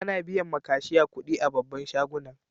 Ana biyan ma kashiya kuɗi a babban shagunan.